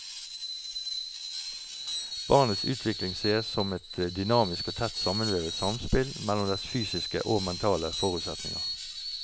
Barnets utvikling ses som et dynamisk og tett sammenvevet samspill mellom dets fysiske og mentale forutsetninger.